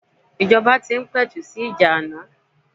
Ìjọba tí ń pẹ̀tù sì ìjà ana.